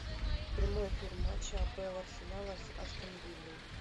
прямой эфир матча апл арсенала с астон виллой